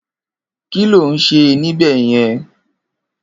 Kiló n sé nibèyèn?